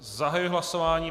Zahajuji hlasování.